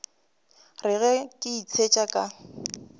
re ge ke itshetšha ka